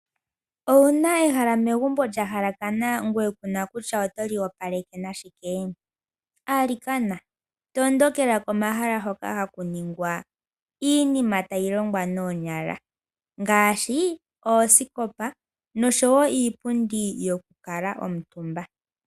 Owuna ehala megumbo lyahalakana ngoye kuna kutya otoli opaleke nashike? Alikana tondokela komahala hoka haku ningwa iinima tayi longwa noonyala ngaashi, oosikopa nosho wo iipundi yoku kuutumba.